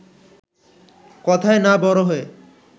কথায় না বড় হয়ে